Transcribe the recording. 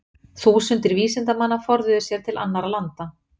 Þúsundir vísindamanna forðuðu sér til annarra landa.